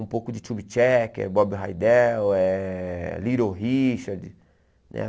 Um pouco de Tube Checker, Bob Heidel, eh Little Richard, né?